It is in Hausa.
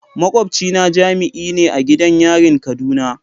Makwabcina jami'i ne a gidan yarin kaduna.